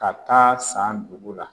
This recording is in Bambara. Ka taa San dugu la.